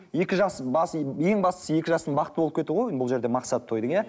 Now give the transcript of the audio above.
екі жас ең бастысы екі жастың бақытты болып кетуі ғой бұл жерде мақсаты тойдың иә